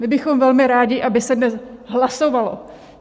My bychom velmi rádi, aby se dnes hlasovalo.